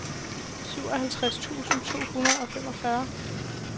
syvoghalvtreds tusind to hundrede og fireogfyrre